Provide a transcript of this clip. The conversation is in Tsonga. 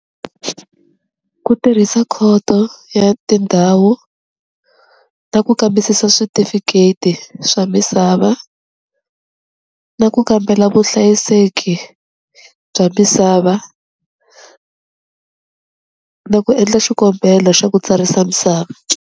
Ku tirhisa khoto ya tindhawu ta ku kambisisa switifiketi swa misava, na ku kambela vuhlayiseki bya misava, na ku endla xikombelo xa ku tsarisa misava.